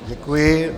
Děkuji.